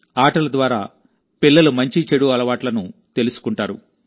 ఆటల ద్వారా పిల్లలు మంచి చెడు అలవాట్లను తెలుసుకుంటారు